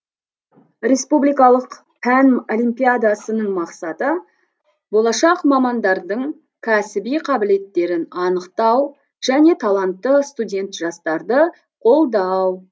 республикалық пән олимпиадасының мақсаты болашақ мамандардың кәсіби қабілеттерін анықтау және талантты студент жастарды қолдау